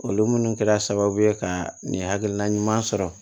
Olu minnu kɛra sababu ye ka nin hakilina ɲuman sɔrɔ